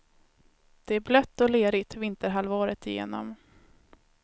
Det är blött och lerigt vinterhalvåret igenom.